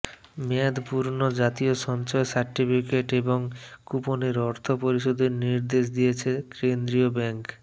মেয়াদ পূর্ণ জাতীয় সঞ্চয় সার্টিফিকেট এবং কুপনের অর্থ পরিশোধের নির্দেশ দিয়েছে কেন্দ্রীয় ব্যাংক